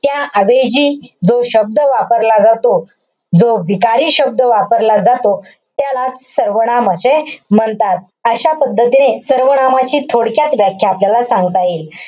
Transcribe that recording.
त्या ऐवजी जो शब्द वापरला जातो. जो विकारी शब्द वापरला जातो. त्यालाच सर्वनाम असे म्हणतात. अशा पद्धतीने सर्वनामाची थोडक्यात व्याख्या आपल्याला सांगता येईल.